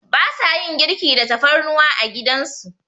Ba sa yin girki da tafarnuwa a gidan su.